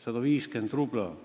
150 rubla!